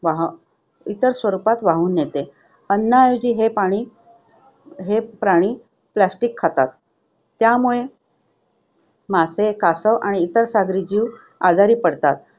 वाह~ इतर स्वरूपात वाहून नेते. अन्नाऐवजी हे पाणी हे प्राणी plastic खातात. त्यामुळे मासे, कासव आणि इतर सागरी जीव आजारी पडतात.